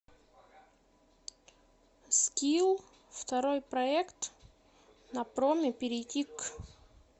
скилл второй проект на проме перейти к